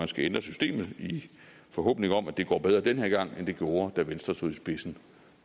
skal ændre systemet i forhåbning om at det går bedre den her gang end det gjorde da venstre stod i spidsen